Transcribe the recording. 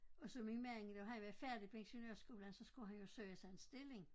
Og så min mand da han var færdig på ingeniørskolen så skulle han jo søge sig en stilling